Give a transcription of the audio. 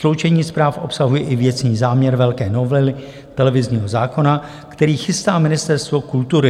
Sloučení zpráv obsahuje i věcný záměr velké novely televizního zákona, který chystá Ministerstvo kultury.